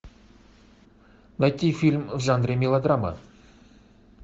найти фильм в жанре мелодрама